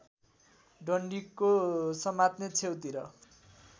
डन्डीको समात्ने छेउतिर